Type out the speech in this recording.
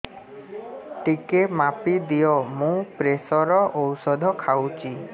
ଟିକେ ମାପିଦିଅ ମୁଁ ପ୍ରେସର ଔଷଧ ଖାଉଚି